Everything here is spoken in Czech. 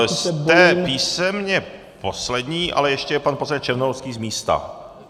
Jste písemně poslední, ale ještě je pan poslanec Černohorský z místa.